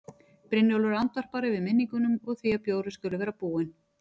Brynjólfur andvarpar, yfir minningunum og því að bjórinn skuli vera búinn.